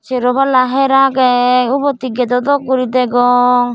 sero palla her agey ubot he gedo dok guri degong.